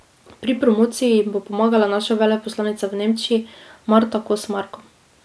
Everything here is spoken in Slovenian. Pri promociji jim bo pomagala naša veleposlanica v Nemčiji Marta Kos Marko.